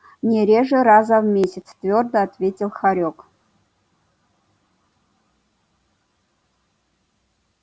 не реже раза в месяц твёрдо ответил хорёк